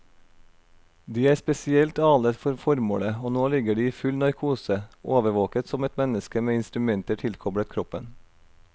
De er spesielt alet for formålet, og nå ligger de i full narkose, overvåket som et menneske med instrumenter tilkoblet kroppen.